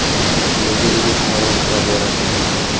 Displeyga ega himoya niqobi yaratildi.